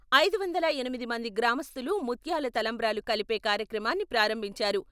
ఐదు వందల ఎనిమిది మంది గ్రామస్తులు ముత్యాల తలంబ్రాలు కలిపే కార్యక్రమాన్ని ప్రారంభించారు.